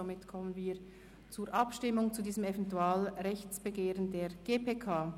Somit kommen wir zur Abstimmung zu diesem Eventualrechtsbegehren der GPK.